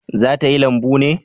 Za ta yi lambu ne?